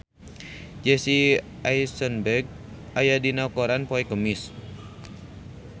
Jesse Eisenberg aya dina koran poe Kemis